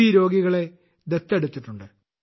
രോഗികളെ ദത്തെടുത്തിട്ടുണ്ട്